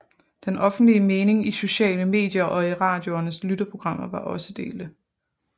Den offentlige mening i sociale medier og i radioernes lytterprogrammer var også delte